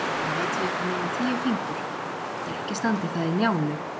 Það veit ég upp á mína tíu fingur, þótt ekki standi það í Njálu.